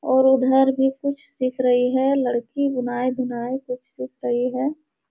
और उधर भी कुछ सीख रही है लड़की बुनाई-धुनाई कुछ सीख रही है।